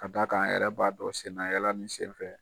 Ka d'a kan a yɛrɛ b'a dɔn sennayaala in senfɛ